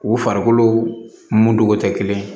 U farikolo muntogo tɛ kelen ye